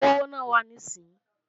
Kówó náà wá níìsín!